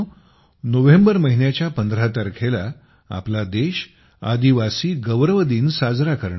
November महिन्याच्या 15 तारखेला आपला देश आदिवासी गौरव दिन साजरा करणार आहे